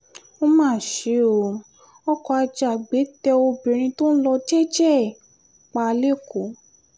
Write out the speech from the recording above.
ó mà ṣe o ọkọ ajàgbẹ́ tẹ obìnrin tó ń lọ jẹ́ẹ́jẹ́ ẹ̀ pa lẹ́kọ̀ọ́